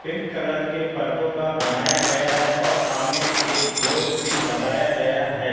Pink colour के पर्दो का बनाया गया है और सामने एक बोर्ड भी लगाया गया है।